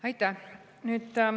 Aitäh!